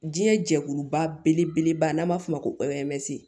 Diɲɛ jɛkuluba belebeleba n'an b'a f'o ma ko ze